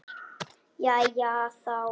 Jæja þá.